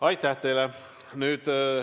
Aitäh teile!